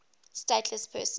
stateless persons